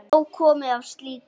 Nóg komið af slíku.